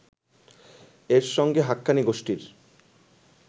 -এর সঙ্গে হাক্কানি গোষ্ঠীর